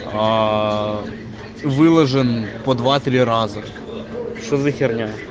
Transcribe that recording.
аа выложен по два-три раза что за херня